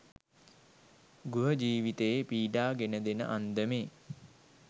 ගෘහ ජීවිතයේ පීඩා ගෙන දෙන අන්දමේ